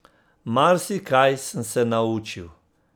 Marsikaj sem se naučil.